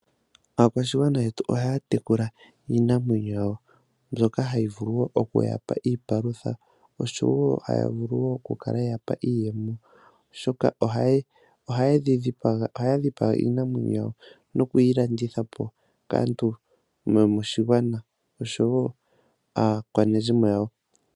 Aakwashigwana yetu ohaya tekula iinamwenyo yawo mbyoka hayi vulu wo okuya palutha oshowo haya vulu wo oku kala ye yapa iiyemo. oha dhipaga iinamwenyo yawo nokuyi landitha po kaantu yomoshigwana oshowo aakwanezimo yawo.